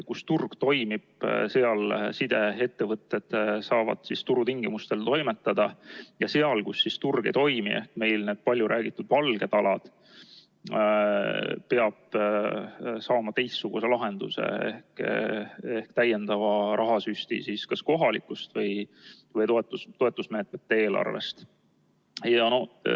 Kus turg toimib, seal sideettevõtted saavad turutingimustel toimetada, ja seal, kus turg ei toimi, ehk meil need paljuräägitud valged alad, peab saama teistsuguse lahenduse ehk täiendava rahasüsti kas kohalikust eelarvest või toetusmeetmete eelarvest.